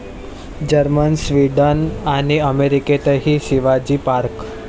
Germany, Sweden आणि अमेरिकेतही Shivaji park!